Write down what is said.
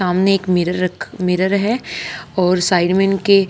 सामने एक मिरर रखा मिरर है और साइड में इनके--